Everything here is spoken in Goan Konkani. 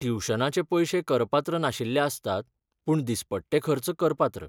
ट्युशनाचे पयशे करपात्र नाशिल्ले आसतात, पूण दिसपट्टे खर्च करपात्र.